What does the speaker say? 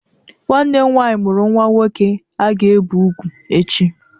Nwanne m nwanyị mụrụ nnwa nwoke a ga-ebe ugwu echi.